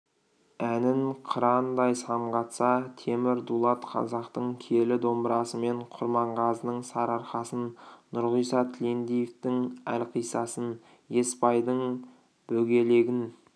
әнін қырандай самғатса темір дулат қазақтың киелі домбырасымен құрманғазының сарыарқасын нұрғиса тілендиевтің әлқисасын есбайдың бөгелегін